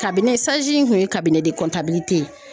in kun ye de ye